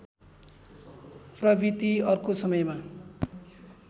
प्रवृत्ति अर्को समयमा